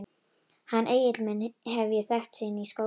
Hann Egil minn hef ég þekkt síðan í skóla.